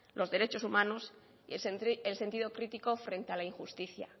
los derechos humanos y el sentido crítico frente a la injusticia